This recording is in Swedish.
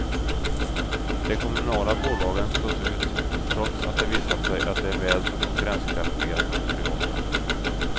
De kommunala bolagen slås ut, trots att det visat sig att de är väl så konkurrenskraftiga som de privata.